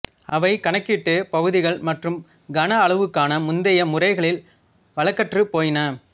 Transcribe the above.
அவை கணக்கீட்டுப் பகுதிகள் மற்றும் கன அளவுக்கான முந்தைய முறைகளில் வழக்கற்றுப் போயின